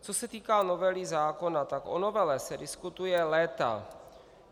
Co se týká novely zákona, tak o novele se diskutuje léta.